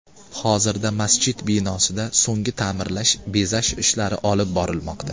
Hozirda masjid binosida so‘nggi ta’mirlash, bezash ishlari olib borilmoqda.